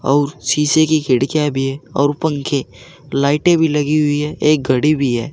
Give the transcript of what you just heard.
और शीशे की खिड़कीयां भी है और पंखे लाइटें भी लगी हुई है एक घड़ी भी है।